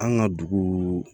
An ka dugu